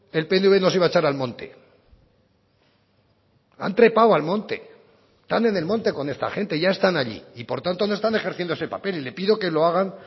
el pnv nos iba a echar al monte han trepado al monte están en el monte con esta gente ya están allí y por tanto no están ejerciendo ese papel y le pido que lo hagan